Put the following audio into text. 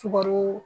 Sukaro